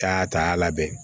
Ka taa labɛn